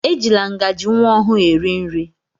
Ejila ngaji nwa ọhụụ eri nri!